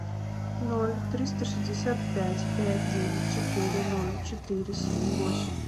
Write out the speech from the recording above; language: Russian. ноль триста шестьдесят пять пять девять четыре ноль четыре семь восемь